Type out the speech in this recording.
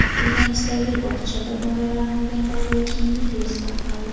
Urganchdagi bog‘chada bolalarni urgan tarbiyachining videosi tarqaldi.